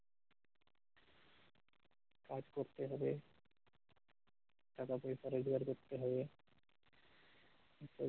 কাজ করতে হবে সকাল থেকে করতে হবে।